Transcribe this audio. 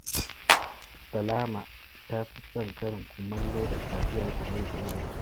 Salama ta fi son karin kumallo da taliya da mai da yaji